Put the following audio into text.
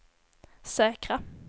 säkra